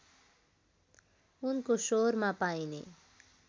उनको स्वरमा पाइने